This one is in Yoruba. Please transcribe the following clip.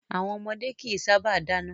Àwọn ọmọdé kìí sábà dáná.